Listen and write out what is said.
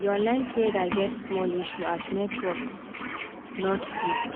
the online trader get small issue as network not dey